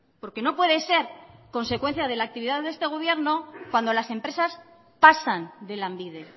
porque no puede ser consecuencia de la actividad de este gobierno cuando las empresas pasan de lanbide